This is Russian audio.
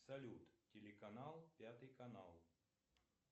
салют телеканал пятый канал